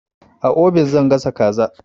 A obin zan gasa kaza.